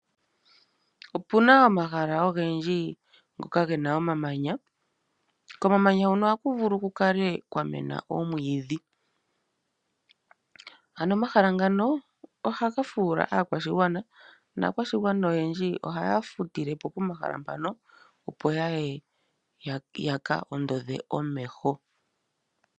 Opuna omahala ogendji ngoka gena omamanya. Komamanya huno oha kuvulu kukale kwa mena omwiidhi .Aano omahala ngano ohaga fula aakwashigwana naakwashigwana oyendji ohaya futilepo po mahala mpano opo yaye yaka oondodhe omeho.